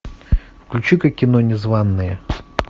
включи ка кино незванные